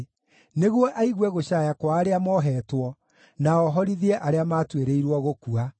nĩguo aigue gũcaaya kwa arĩa moheetwo, na ohorithie arĩa maatuĩrĩirwo gũkua.”